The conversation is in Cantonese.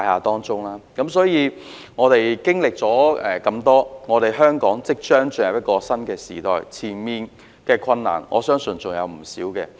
因此，我們真的經歷了很多，香港也即將進入一個新時代，前面的困難相信還有不少。